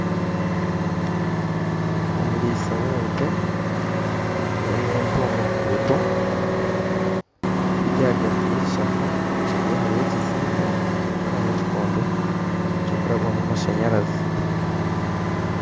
Omuriisa w'ente arikufunya ente omuruguuto ziri ahagati y'ekishaka omu maisho ge harimu ekizimbe kiriho nana ekikondo kirikurabwamu amashanyarazi